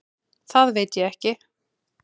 Það veit ég ekki.